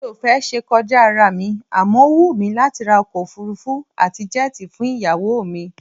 Mi ò fẹ́ ṣe kọjá ará mi àmọ́ ó wù mí láti ra ọkọ òfuurufú àti jẹ́ẹ̀tì fún ìyàwó mi